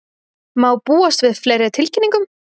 Má búast við fleiri tilkynningum?